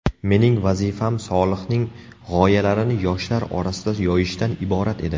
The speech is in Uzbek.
Mening vazifam Solihning g‘oyalarini yoshlar orasida yoyishdan iborat edi.